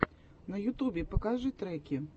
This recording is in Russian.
на ютубе покажи треки